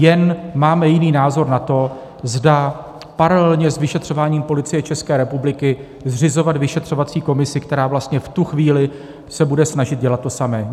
Jen máme jiný názor na to, zda paralelně s vyšetřováním Policie České republiky zřizovat vyšetřovací komisi, která vlastně v tu chvíli se bude snažit dělat to samé.